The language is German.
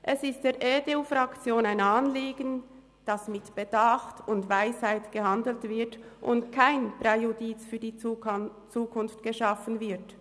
Es ist der EDU-Fraktion ein Anliegen, dass mit Bedacht und Weisheit gehandelt wird und kein Präjudiz für die Zukunft geschaffen wird.